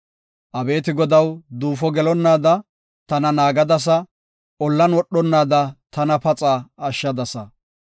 Abeeti Godaw, duufo gelonnaada tana naagadasa; ollan wodhonnaada tana paxa ashshadasa.